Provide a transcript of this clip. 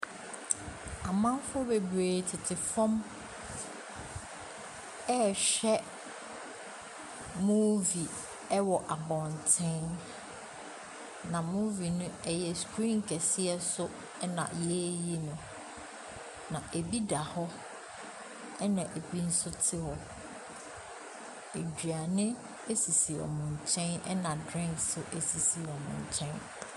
Amamfoɔ bebree tete fam ɛrehwɛ movie wɔ abɔnten, na movie no yɛ screen kɛseɛ so na yɛreyi no. Na bi da hɔ na bi nso te hɔ. Aduane sisi wɔn nkyɛn na drink nso sisi wɔn nkyɛn.